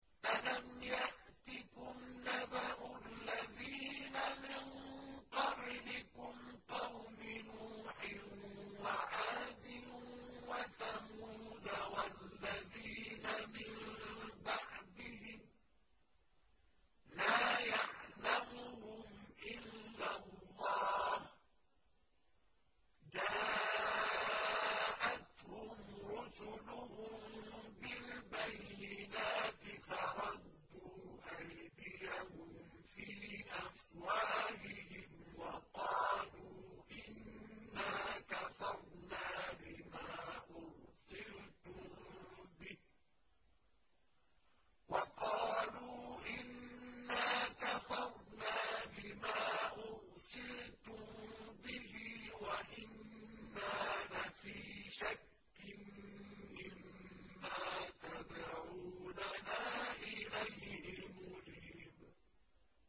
أَلَمْ يَأْتِكُمْ نَبَأُ الَّذِينَ مِن قَبْلِكُمْ قَوْمِ نُوحٍ وَعَادٍ وَثَمُودَ ۛ وَالَّذِينَ مِن بَعْدِهِمْ ۛ لَا يَعْلَمُهُمْ إِلَّا اللَّهُ ۚ جَاءَتْهُمْ رُسُلُهُم بِالْبَيِّنَاتِ فَرَدُّوا أَيْدِيَهُمْ فِي أَفْوَاهِهِمْ وَقَالُوا إِنَّا كَفَرْنَا بِمَا أُرْسِلْتُم بِهِ وَإِنَّا لَفِي شَكٍّ مِّمَّا تَدْعُونَنَا إِلَيْهِ مُرِيبٍ